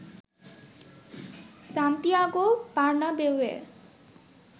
Santiago বার্নাবেউয়ে